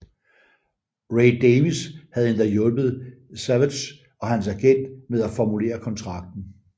Ray Davies havde endda hjulpet Savage og hans agent med at formulere kontrakten